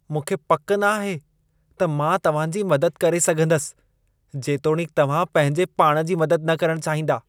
मूंखे पक न आहे त मां तव्हां जी मदद करे सघंदसि जेतोणीकि तव्हां पंहिंजे पाण जी मदद न करणु चाहींदा।